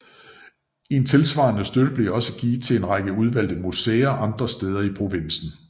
En tilsvarende støtte blev også givet til en række udvalgte museer andre steder i provinsen